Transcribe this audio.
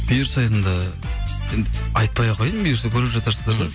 бұйырса енді енді айтпай ақ қояйын бұйырса көре жатарсыздар да